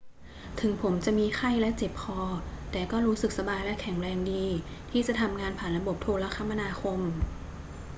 ถึงผมจะมีไข้และเจ็บคอ แต่ก็รู้สึกสบายและแข็งแรงดีที่จะทำงานผ่านระบบโทรคมนาคม